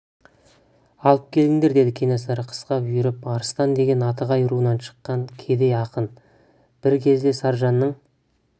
алып келіңдер деді кенесары қысқа бұйырып арыстан деген атығай руынан шыққан кедей ақын бір кезде саржанның